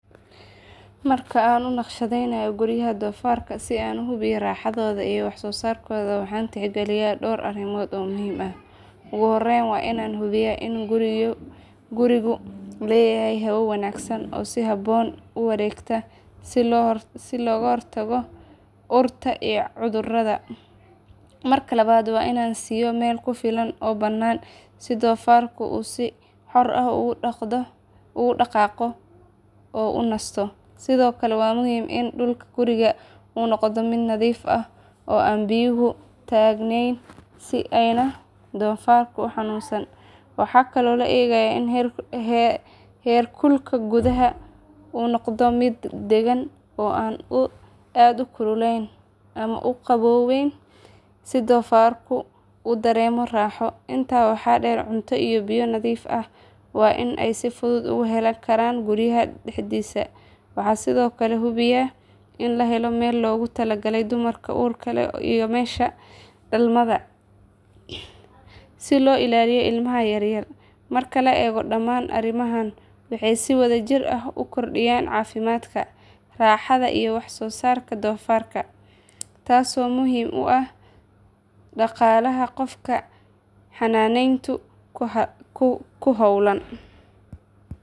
Marka aan u naqshadaynayo guryaha doofaarka si aan u hubiyo raaxadooda iyo wax soo saarkooda waxaan tixgeliyaa dhowr arrimood oo muhiim ah. Ugu horreyn waa inaan hubiyaa in gurigu leeyahay hawo wanaagsan oo si habboon u wareegta si looga hortago urta iyo cudurrada. Marka labaad waa inaan siiyo meel ku filan oo bannaan si doofaarku uu si xor ah ugu dhaqaaqo oo u nasto. Sidoo kale waa muhiim in dhulka guriga uu noqdo mid nadiif ah oo aan biyuhu taagnayn si aanay doofaarku u xanuunsan. Waxaan kaloo eegaa in heerkulka gudaha uu noqdo mid deggan oo aan aad u kululayn ama u qabownayn si doofaarku u dareemo raaxo. Intaa waxaa dheer cunto iyo biyo nadiif ah waa inay si fudud ugu heli karaan guriga dhexdiisa. Waxaan sidoo kale hubiyaa in la helo meel loogu talagalay dumarka uurka leh iyo meesha dhalmada si loo ilaaliyo ilmaha yar yar. Marka la eego dhammaan arrimahan waxay si wada jir ah u kordhiyaan caafimaadka, raaxada iyo wax soo saarka doofaarka taasoo muhiim u ah dhaqaalaha qofka xanaaneynta ku hawlan.